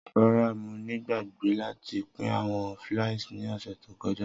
Rara, Mo ti gbagbe lati pin awọn fliers ni ọsẹ to kọja.